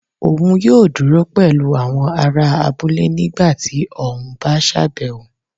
òun yóò dúró pẹlú àwọn ará abúlé nígbà ti ọ n bá sábéwọ